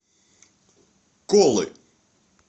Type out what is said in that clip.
колы